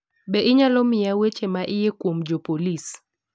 Bende inyalo miya weche ma iye kuom jopolis